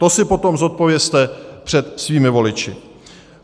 To si potom zodpovězte před svými voliči.